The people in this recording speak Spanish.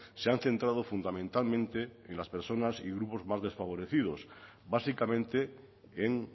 se han centrado fundamentalmente en las personas y grupos más desfavorecidos básicamente en